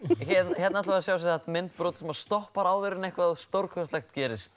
hérna ætlum við að sjá myndbrot sem stoppar áður en eitthvað stórkostlegt gerist